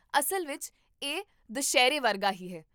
ਅਸਲ ਵਿੱਚ ਇਹ ਦੁਸਹਿਰੇ ਵਰਗਾ ਹੀ ਹੈ